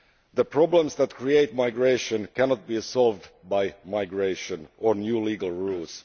The problems that create migration cannot be solved by migration or new legal rules